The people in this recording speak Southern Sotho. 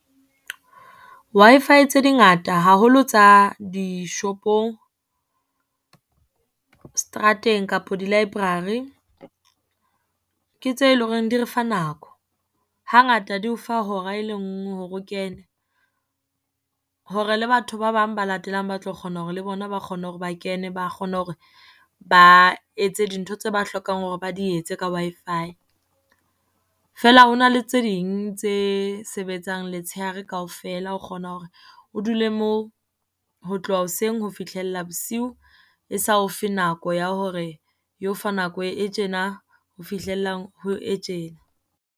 Wi-Fi tse dingata haholo tsa dishopong, strateng kapo di-library, ke tse leng hore di refa nako. Hangata di o fa hora e lenngwe hore o kene, hore le batho ba bang ba latelang ba tlo kgona hore le bona ba kgona hore ba kene, ba kgone hore ba etse dintho tse ba hlokang hore ba di etse ka Wi-Fi. Feela ho na le tse ding tse sebetsang letshehare kaofela. O kgona hore o dule moo, ho tloha hoseng ho fihlella bosiu e sa o fe nako ya hore e o fa nako e tjena ho fihlella ho e tjena.